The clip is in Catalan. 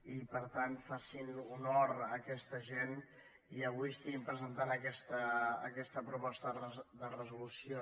i per tant facin honor a aquesta gent i avui presentin aquesta proposta de resolució